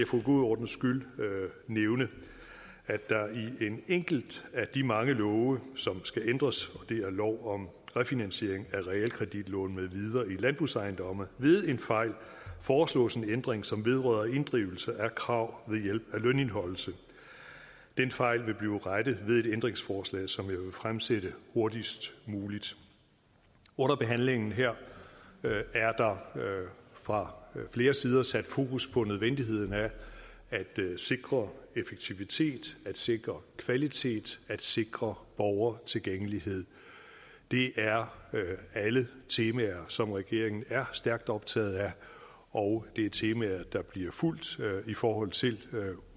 god ordens skyld nævne at der i en enkelt af de mange love som skal ændres og det er lov om refinansiering af realkreditlån med videre i landbrugsejendomme ved en fejl foreslås en ændring som vedrører inddrivelse af krav ved hjælp af lønindeholdelse den fejl vil blive rettet ved et ændringsforslag som jeg vil fremsætte hurtigst muligt under behandlingen her er der fra flere sider sat fokus på nødvendigheden af at sikre effektivitet at sikre kvalitet at sikre borgertilgængelighed det er alle temaer som regeringen er stærkt optaget af og det er temaer der bliver fulgt i forhold til